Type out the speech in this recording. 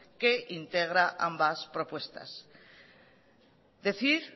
que integra ambas propuestas decir